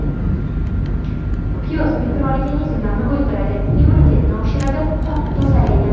Piyoz mikroorganizmlarni o‘ldiradi, immunitetni oshiradi, qonni tozalaydi.